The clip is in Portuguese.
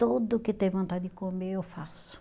Tudo que tem vontade de comer, eu faço.